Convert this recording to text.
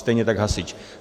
Stejně tak hasič.